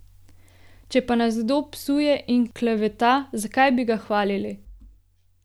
Če pa nas kdo psuje in kleveta, zakaj bi ga hvalili?